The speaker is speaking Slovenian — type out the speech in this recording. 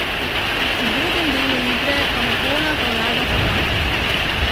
V drugem delu igre pa popolna prevlada Hrvatov.